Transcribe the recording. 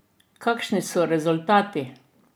Kakšni so rezultati?